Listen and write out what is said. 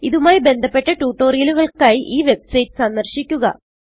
ഇതുമായി ബന്ധപ്പെട്ട ട്യൂട്ടോറിയലുകൾക്കായി ഈ വെബ്സൈറ്റ് സന്ദർശിക്കുക